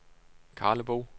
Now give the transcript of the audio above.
Karlebo